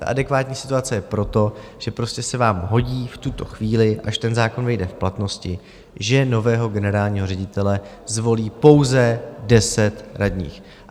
Ta adekvátní situace je proto, že prostě se vám hodí v tuto chvíli, až ten zákon vejde v platnost, že nového generálního ředitele zvolí pouze 10 radních.